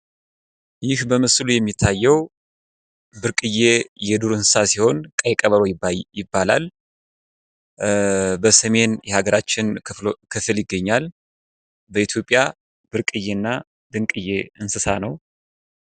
ይህ በምስሉ የሚታየው ብርቅየ የዱር እንስሳ ሲሆን ቀይ ቀበሮ ይባላል። በሰሜን የሀገራችን ክፍል ይገኛል። በኢትዮጵያ ብርቅየ እና ድንቅየ እንስሳ ነው።